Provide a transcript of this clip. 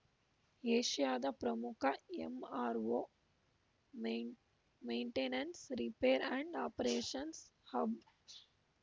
ಏಷ್ಯಾದ ಪ್ರಮುಖ MRO maintenance repair and operations hub